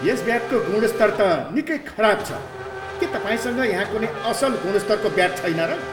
यस ब्याटको गुणस्तर त निकै खराब छ। के तपाईँसँग यहाँ कुनै असल गुणस्तरको ब्याट छैन र?